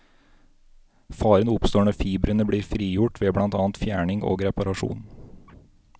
Faren oppstår når fibrene blir frigjort ved blant annet fjerning og reparasjon.